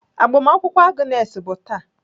Agbamakwụkwọ Agnes bụ taa.